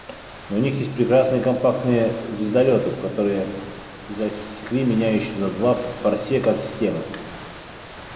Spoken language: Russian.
но у них есть прекрасные компактные звездолёты которые засекли меня ещё за два парсека от системы